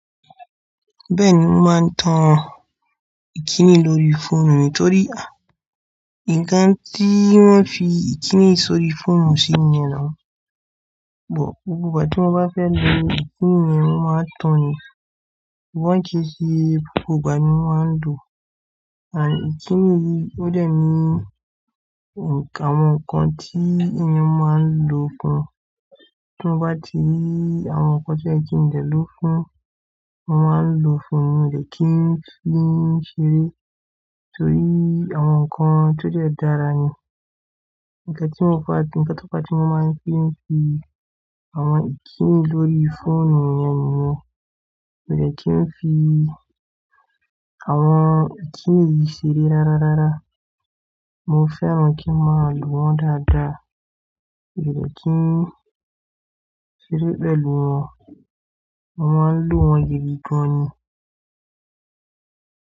Bẹ́ẹ̀ni, mo máa ń tan ìkíni lórí fóònù mi torí a ǹkan tí wón fi ìkíni sórí fóònù sì ni a ò, gbogbo ìgbà tí mo bá fẹ́ lo ìkíni yẹn, mo máa ń tan ni. Sugbon ki se gbgbo igbà ni mo máa ń lo. Ànd kíni yìí ó dẹ́ ní ǹkan àwọn nǹkan tí èèyàn máa ń lò fún. Ti mo bá ti rí àwọn nǹkan tim5ẹ̀kín lè lò fún, mo máa ń lò fún ni. Mo dẹ̀ kí n fi ṣeré torí àwọn nǹkan tó jẹ́ dára ni. Nkàn tí mi bá dij, pàtàkò tí mo máa ń fi ṣe àwọn ìkíni lórí fóònù yẹn ni, mo dẹ̀ kí n fi àwọn kíni yìí ṣeré rárá rárá. Mo fẹ́ran kí n máa lò wọ́n dáadáa. Mo dẹ̀ kí n ṣeré pẹ̀lú wọn. Mo máa ń lò wọ́n gidi gan ni.